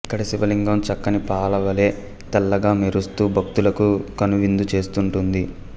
ఇక్కడి శివలింగం చిక్కని పాలవలే తెల్లగా మెరుస్తూ భక్తులకు కనువిందు చేస్తుంటుంది